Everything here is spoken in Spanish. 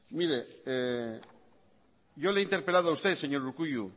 mire yo le he interpelado a usted señor urkullu